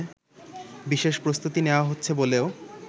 বিশেষ প্রস্তুতি নেওয়া হচ্ছে বলেও